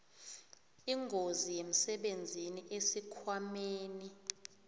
ingozi yemsebenzini esikhwameni